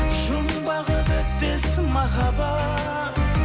жұмбағы бітпес махаббат